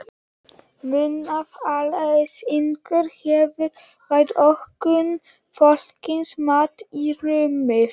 Munaðarleysinginn hefur fært ókunna fólkinu mat í rúmið.